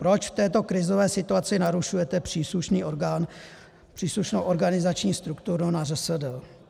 Proč v této krizové situaci narušujete příslušný orgán, příslušnou organizační strukturu na ŘSD?